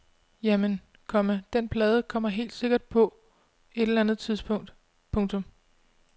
Jamen, komma den plade kommer helt sikkert på et eller andet tidspunkt. punktum